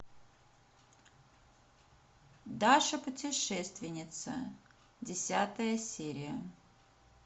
даша путешественница десятая серия